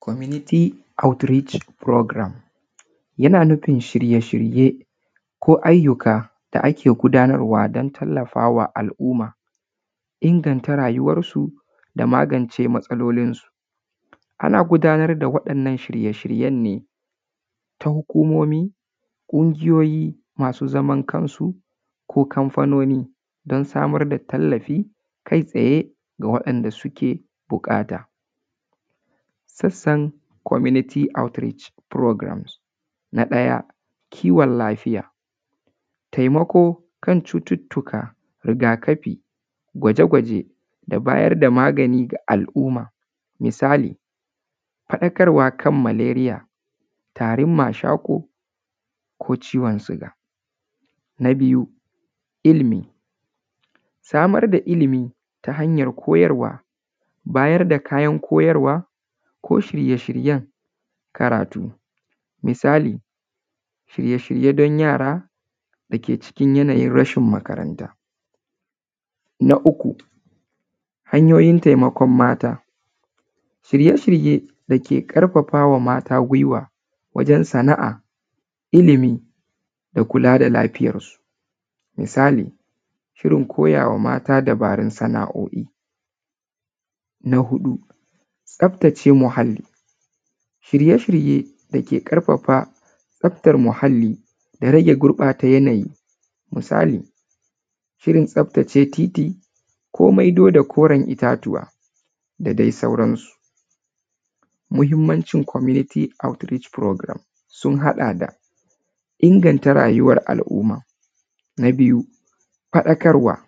Community outreach programme, yana nufin shirye-shirye ko ayyuka da ake gudanarwa don tallafawa al’umma, inganta rayuwarsu da magance matsalolinsu. Ana gudanar da waɗannan shirye-shiryen ne ta hukumomi, ƙungiyoyi masu zaman kansu ko kamfanoni don samar da tallafi kai tsaye ga waɗanda suke buƙata. Sassan community outreach programmes: Na ɗaya, kiwon lafiya, taimako kan cututtuka, rigakafi, gwaje-gwaje da bayar da magani ga al’umma, misali; faɗakarwa kan maleriya, tarin mashaƙo ko ciwon suga. Na biyu, ilimi, samar da ilimi ta hanyar koyarwa, bayar da kayan koyarwa ko shirye-shiryen karatu, misali; shirye-shirye dan yara dake cikin yanayin rashin makaranta. Na uku, hanyoyin taimakon mata, shirye-shirye dake ƙarfafa wa mata gwiwa wajen sana’a, ilimi da kula da lafiyarsu, misali; shirin koyawa mata dabarun sana’o’i. Na huɗu, tsaftace muhalli, shirye-shirye dake ƙarfafa tsaftar muhalli da gurɓata da rage gurɓata yanayi, misali; shirin tsaftace titi ko maido da koren itatuwa da dai sauransu. Muhimmanci community outreach programme sun haɗa da; inganta rayuwar al’umma, na biyu faɗakarwa,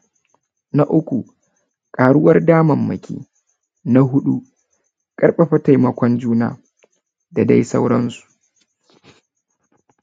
na uku ƙaruwar damammaki, na huɗu ƙarfafa taimakon juna da dai sauransu.